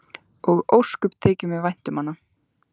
Og ósköp þykir mér vænt um hana.